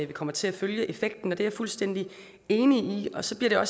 vi kommer til at følge effekten det er jeg fuldstændig enig i så bliver